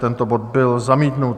Tento bod byl zamítnut.